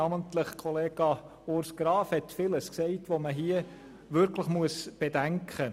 Namentlich hat Grossrat Graf vieles gesagt, das wirklich bedacht werden muss.